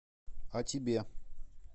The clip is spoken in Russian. а тебе